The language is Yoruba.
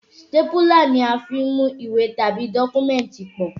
Sítépúlà ni a fí ń mú ìwé tàbí dọ́kúmẹ̀tì pọ̀